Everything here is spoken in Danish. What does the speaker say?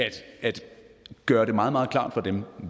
gøre det meget meget klart for dem